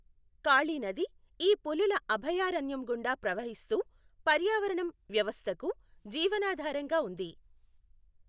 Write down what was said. కాళి నది ఈ పులుల అభయారణ్యం గుండా ప్రవహిస్తూ పర్యావరణ వ్యవస్థకు జీవనాధారంగా ఉంది.